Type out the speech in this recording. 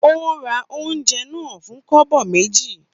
Ó ra oúnjẹ náà fún kobo méjì.